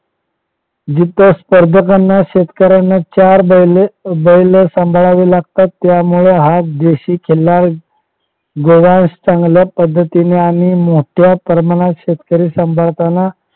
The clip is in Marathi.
जिथं शेतकऱ्यांना स्पर्धकांना चार बैल सांभाळावी लागतात त्यामुळे हा देशी खिल्लार व्यवहार चांगल्या पद्धतीने आणि मोठ्या प्रमाणात शेतकरी सांभाळताना